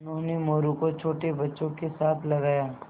उन्होंने मोरू को छोटे बच्चों के साथ लगाया